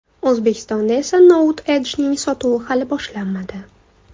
O‘zbekistonda esa Note Edge’ning sotuvi hali boshlanmadi.